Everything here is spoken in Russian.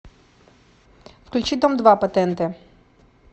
включи дом два по тнт